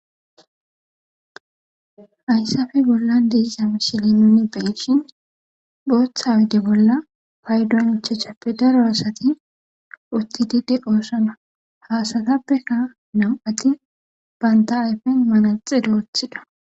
ayssafe bollan deisa mishili nuni beishin booththa wude bolla paydonichachappe daro asati utti dide qoossana haasatappeka nam7ati banta ayfen manaxe roothida